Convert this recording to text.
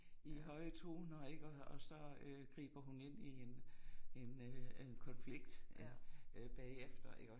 I høje toner ik og og så øh griber hun ind i en en øh øh konflikt øh bagefter iggå